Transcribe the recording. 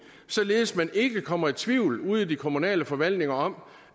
således at man ikke kommer i tvivl ude i de kommunale forvaltninger om